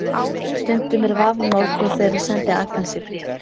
Stundum er vafamál hvor þeirra sendi Agnesi bréf.